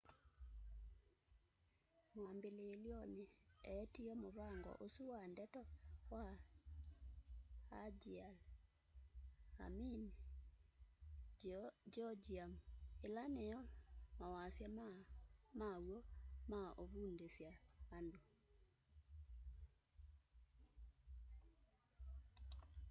mwambililyoni eetie muvango usu wa ndeto wa hangeul hunmin jeongeum ila niyo mawasya ala maw'o ma uvundusya andu